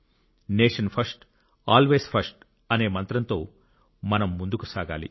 nation first always first అనే మంత్రంతో మనం ముందుకు సాగాలి